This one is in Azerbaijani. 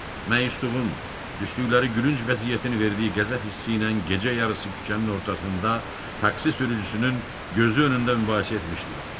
Məyusluğun, düşdükləri gülünc vəziyyətin verdiyi qəzəb hissi ilə gecə yarısı küçənin ortasında taksi sürücüsünün gözü önündə mübahisə etmişdilər.